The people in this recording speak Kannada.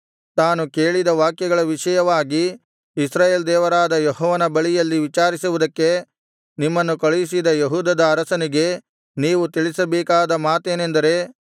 ತಾನು ಕೇಳಿದ ವಾಕ್ಯಗಳ ವಿಷಯವಾಗಿ ಇಸ್ರಾಯೇಲ್ ದೇವರಾದ ಯೆಹೋವನ ಬಳಿಯಲ್ಲಿ ವಿಚಾರಿಸುವುದಕ್ಕೆ ನಿಮ್ಮನ್ನು ಕಳುಹಿಸಿದ ಯೆಹೂದದ ಅರಸನಿಗೆ ನೀವು ತಿಳಿಸಬೇಕಾದ ಮಾತೇನೆಂದರೆ